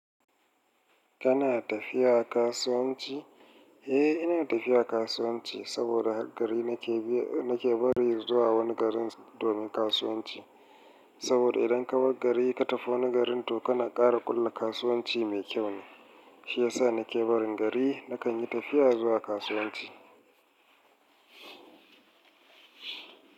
Kana tafiya kasuwanci? Eh, ina tafiya kasuwanci saboda gari nake biya, nake bari zuwa wani garin domin kasuwanci. Saboda idan ka bar gari ka tafi wani garin to kana ƙara ƙulla kasuwanci mai kyau ne. Shi ya sa nake barin gari na kan yi tafiya zuwa kasuwanci.